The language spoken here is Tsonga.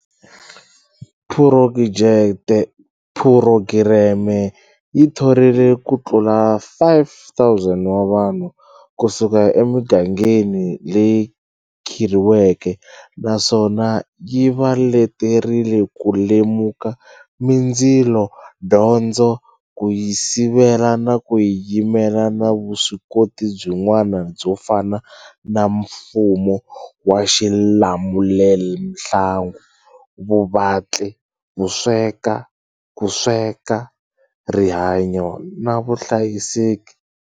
Phurogireme yi thorile ku tlula 5 000 wa vanhu ku suka emigangeni leyi khirhiweke naswona yi va leterile ku lemuka mindzilo, dyondzo, ku yi sivela na ku yi yimela na vuswikoti byin'wa na byo fana na mfumo wa xi lamulelamhangu, vuvatli, ku sweka, rihanyo na vuhlayiseki.